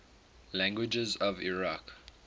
languages of iraq